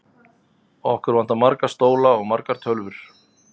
Okkur vantar marga stóla og margar tölvur.